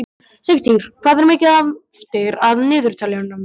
Sigtýr, hvað er mikið eftir af niðurteljaranum?